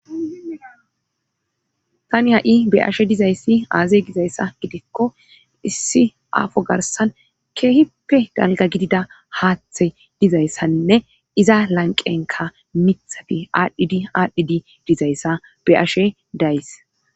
tani ha7i be ashe dizayssi aazey gizayssa gidikko issi aafo garsan keehipe galga gidida haaththey dizayssaninne iza lanqenka mithafi aadhdhidi aadhdhidi dizayssa be ashe days